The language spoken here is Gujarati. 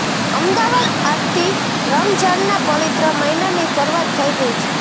અમદાવાદઃ આજથી રમજાનના પવિત્ર મહિનાની શરૂઆત થઇ ગઇ છે